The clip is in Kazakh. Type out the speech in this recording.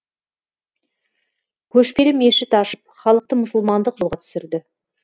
көшпелі мешіт ашып халықты мұсылмандық жолға түсірді